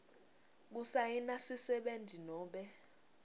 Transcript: kusayina sisebenti nobe